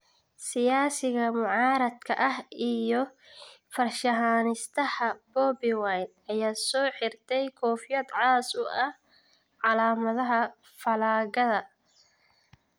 Siyaasiga mucaaradka ah iyo farshaxaniistaha Bobi Wine, ayaa soo xirtay koofiyad cas oo ah "calaamadaha fallaagada".